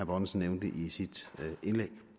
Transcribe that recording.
bonnesen nævnte i sit indlæg